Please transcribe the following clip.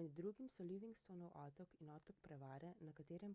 med drugimi so livingstonov otok in otok prevare na katerem